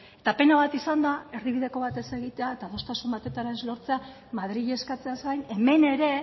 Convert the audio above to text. eta pena bat izan da erdibideko bat ez egitea eta adostasun bat ez lortzea madrili eskatzeaz gain hemen ere